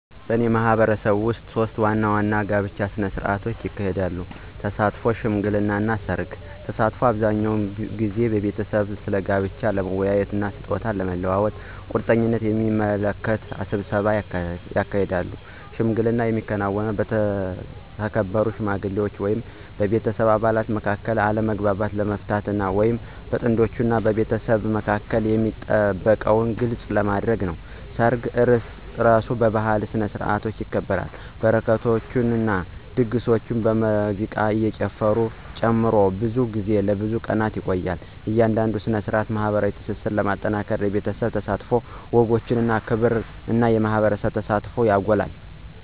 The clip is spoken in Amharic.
በእኔ ማህበረሰብ ውስጥ ሶስት ዋና ዋና ከጋብቻ ጋር የተያያዙ ሥነ ሥርዓቶች አሉ - ተሳትፎ፣ ሽምግልና እና ሠርግ። ተሳትፎ አብዛኛውን ጊዜ ቤተሰቦች ስለ ጋብቻ ለመወያየት እና ስጦታ ለመለዋወጥ ቁርጠኝነትን የሚያመለክት ስብሰባን ያካትታል። ሽምግልና የሚከናወነው በተከበሩ ሽማግሌዎች ወይም የቤተሰብ አባላት መካከል አለመግባባቶችን ለመፍታት ወይም በጥንዶች እና በቤተሰቦቻቸው መካከል የሚጠበቁትን ግልጽ ለማድረግ ነው። ሰርጉ እራሱ በባህላዊ ስነ-ስርዓቶች ይከበራል, በረከቶችን, ድግሶችን, ሙዚቃን እና ጭፈራን ጨምሮ, ብዙ ጊዜ ለብዙ ቀናት ይቆያል. እያንዳንዱ ሥነ ሥርዓት ማኅበራዊ ትስስርን ለማጠናከር የቤተሰብ ተሳትፎን፣ ወጎችን ማክበር እና የማህበረሰብ ተሳትፎን ያጎላል።